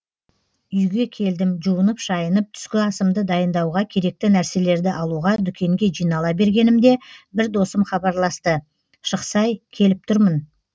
үйге келдім жуынып шайынып түскі асымды дайындауға керекті нәрселерді алуға дүкенге жинала бергенімде бір досым хабарласты шықсай келіп тұрмын